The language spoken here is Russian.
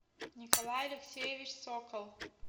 николай алексеевич сокол